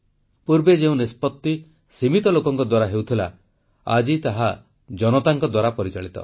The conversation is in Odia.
ପୂର୍ବେ ଯେଉଁ ନିଷ୍ପତ୍ତି ସୀମିତ ଲୋକଙ୍କ ଦ୍ୱାରା ହେଉଥିଲା ଆଜି ତାହା ଜନତାଙ୍କ ଦ୍ୱାରା ପରିଚାଳିତ